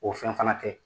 O fɛn fana tɛ